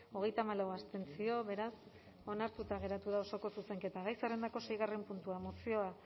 hogeita hamalau abstentzio beraz onartuta geratu da osoko zuzenketa gai zerrendako seigarren puntua mozioa